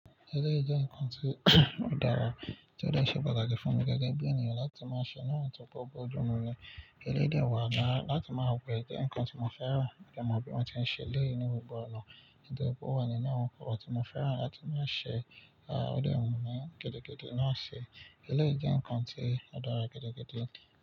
Eléyìí jẹ́ nǹkan tí o dára, tí ó dè ṣe pàtàkì fún mi gẹ́gẹ́ bí ènìyàn láti máa ṣe lónáà tó ba bọjúmu bọ́ọ́dù ọmọ rẹ̀. Kẹ́dẹ́ ń wà náà láti máa wẹ̀ jẹ́ nǹkan tí mo fẹ́ràn jẹ́ má bí wọ́n ti ń ṣe lé inú gbọ̀ngàn. Nítorí pé ó wà nínú ǹkan ọ̀ tí mo fẹ́ràn láti máa ṣe, à ó dè wù mí gidigidi náà ṣe. Eléyìí jẹ́ nǹkan tí ó dára gẹ́dẹ́gẹ́dẹ́.